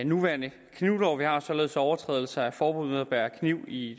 nuværende knivlov således at overtrædelse af forbud mod at bære kniv i